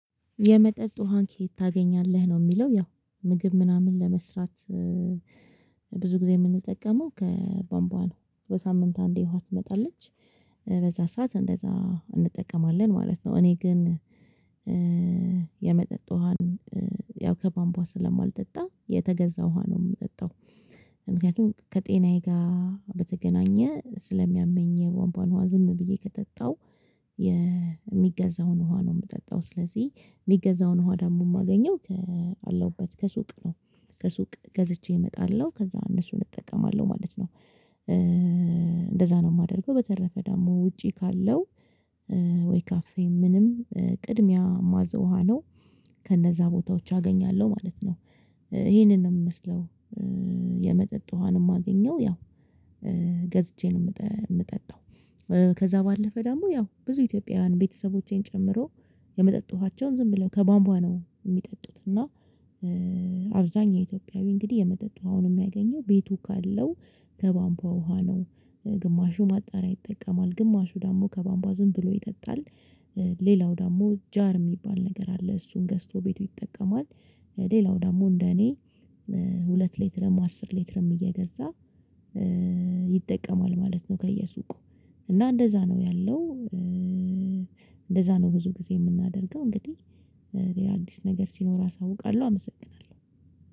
የመጠጥ ውሃን ከየት ታገኛለህ ነው ሚለው ያው ምግብ ምናምን ለመስራት ብዙ ጊዜ የምንጠቀመው ከባንቧ ነው በሳምንት አንዴ ውሃ ትመጣለች በዛ ሰዓት እንደዛ እንጠቀማለን ማለት ነው። እኔ ግን የመጠጥ ውሃን ያው ከባምቧ ስለማልጠጣ የተገዛ ውሃ ነው ምጠጣው። ምክንያቱም ከጤናዬ ጋ በተገናኘ ስለሚያመኝ የቧንቧን ውሃ ዝም ብዬ ከጠጣው። የሚገዛውን ውሃ ነው ምጠጣው ስለዚህ ሚገዛውን ውሃ ደግሞ ማገኘው ከለውበት ከሱቅ ነው። ከሱቅ ገዝቼ እመጣለሁ ከዛ እነሱን እጠቀማለሁ ማለት ነው። እንደዛ ነው የማደርገው። በተረፈ ደግሞ ውጪ ካለው ወይ ካፌ ምንም ቅድሚያ ማዘው ውሃ ነው። ከነዛ ቦታዎች አገኛለሁ ማለት ነው። ይሄንን ነው የምመስለው የመጠጥ ውሃ ነው ማገኘው ያው ገዝቼ ነው ምጠጣው። ከዛ ባለፈ ደግሞ ያው ብዙ ኢትዮጵያውያን ቤተሰቦቼን ጨምሮ የመጠጥ ውሃቻውን ዝም ብለው ከቧንቧ ነው ሚጠጡት። እና አብዛኛው ኢትዮጵያዊ እንግዲህ የመጠጥ የምነገኘው ቤቱ ካለው ከቧምቧ ውሃ ነው። ግማሹ ማጣሪያ ይጠቀማል ግማሹ ደግሞ ከቧምቧ ዝም ብሎ ይጠጣል። ሌላው ደግሞ ጃር የሚባል ነገር አለ እሱን ገዝቶ ቤቱ ይጠቀማል። ሌላው ደግሞ እንደ እኔ ሁለት ሌትረም አስር ሌትረም እየገዛ ይጠቀማል ማለት ነው። ከየሱቁ እና እንደዛ ነው ያለው። እንደዛ ነው ብዙ ጊዜ ምናደርገው እንግዲህ ሌላ አዲስ ነገር ሲኖር አሳውቃለሁ። አመሰግናለሁ።